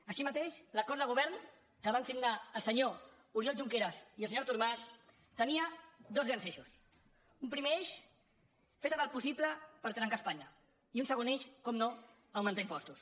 així mateix l’acord de govern que van signar el senyor oriol junqueras i el senyor artur mas tenia dos grans eixos un primer eix fer tot el possible per trencar espanya i un segon eix com no augmentar impostos